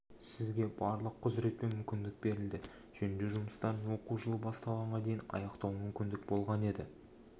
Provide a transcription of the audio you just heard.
сізге барлық құзырет пен мүмкіндік берілді жөндеу жұмыстарын оқу жылы басталғанға дейін аяқтауға мүмкіндік болған еді